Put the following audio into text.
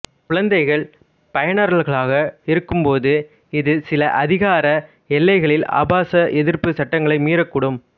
குழந்தைகள் பயனர்களாக இருக்கும் போது இது சில அதிகார எல்லைகளில் ஆபாச எதிர்ப்பு சட்டங்களை மீறக்கூடும்